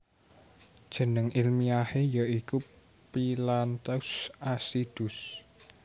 Jeneng ilmiahe ya iku Phyllanthus acidus